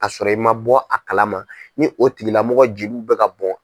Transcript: A sɔrɔ i ma bɔ a kalama, ni o tigilamɔgɔ jeliw bɛ ka bɔn.